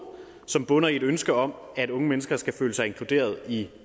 som bunder i et ønske om at unge mennesker skal føle sig inkluderede i